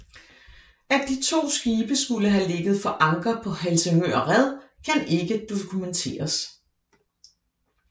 At de to skibe skulle have ligget for anker på Helsingør red kan ikke dokumenteres